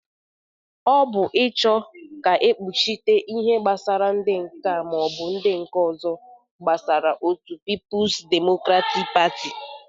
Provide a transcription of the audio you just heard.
Ọ bụrụ ịchọ ka ekpuchite ihe gbasara ndị nka ma o bụ ndị nke ọzọ. gbasarai otu pipulz demokratik patị